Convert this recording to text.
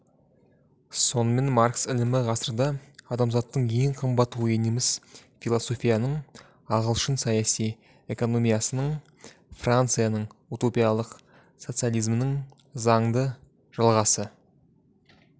сонымен маркс ілімі ғасырда адамзаттың ең қымбат ойы неміс философиясының ағылшын саяси экономиясының францияның утопиялық социализмінің заңды жалғасы